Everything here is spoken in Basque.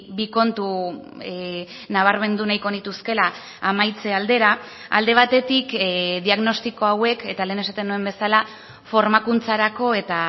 bi kontu nabarmendu nahiko nituzkeela amaitze aldera alde batetik diagnostiko hauek eta lehen esaten nuen bezala formakuntzarako eta